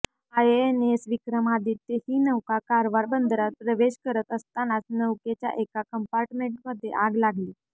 INS Vikramaditya ही नौका कारवार बंदरात प्रवेश करत असतानाच नौकेच्या एका कम्पार्टमेंटमध्ये आग लागली